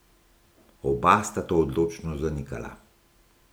Oba sta to odločno zanikala.